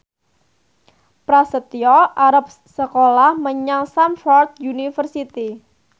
Prasetyo arep sekolah menyang Stamford University